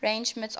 range mits offered